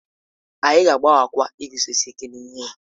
Anyị ga-agbaghakwa iguzosi ike n'ihe ya